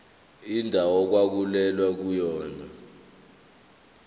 indawo okwakulwelwa kuyona